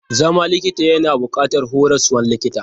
Zama likita yana buƙatar horaswan likita.